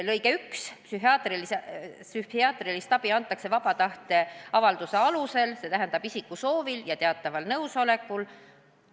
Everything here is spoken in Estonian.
Lõige 1: "Psühhiaatrilist abi antakse vaba tahte avalduse alusel, st isiku soovil või teadval nõusolekul.